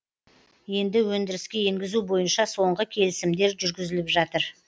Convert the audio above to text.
енді өндіріске енгізу бойынша соңғы келісімдер жүргізіліп жатыр